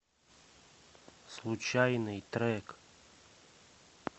случайный трек